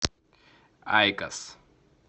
айкос